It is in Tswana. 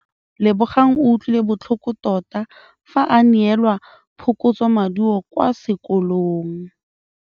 Lebogang o utlwile botlhoko tota fa a neelwa phokotsômaduô kwa sekolong.